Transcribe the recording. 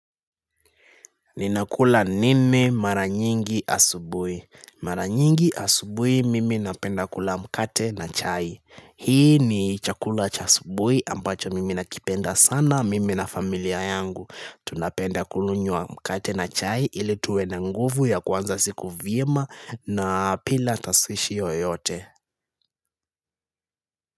Ninakula nini maranyingi asubuhi? Maranyingi asubuhi mimi napenda kula mkate na chai. Hii ni chakula cha asubuhi ambacho mimi nakipenda sana mimi na familia yangu. Tunapenda kunywa mkate na chai ili tuwe na nguvu ya kuanza siku vyema na bila taswishi yoyote.